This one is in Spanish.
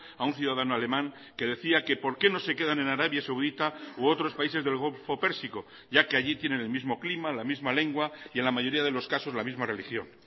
a un ciudadano alemán que decía que por qué no se quedan en arabia saudita u otros países del golfo pérsico ya que allí tienen el mismo clima la misma lengua y en la mayoría de los casos la misma religión